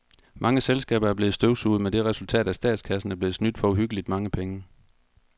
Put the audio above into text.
Mange selskaber er blevet støvsuget med det resultat, at statskassen er blevet snydt for uhyggeligt mange penge.